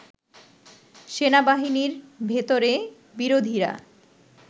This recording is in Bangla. সেনাবাহিনির ভেতরে বিরোধীরা